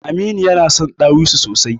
Aminu yana son ɗawisu sosai.